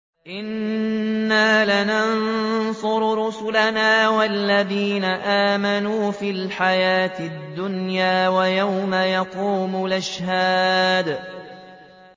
إِنَّا لَنَنصُرُ رُسُلَنَا وَالَّذِينَ آمَنُوا فِي الْحَيَاةِ الدُّنْيَا وَيَوْمَ يَقُومُ الْأَشْهَادُ